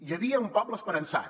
hi havia un poble esperançat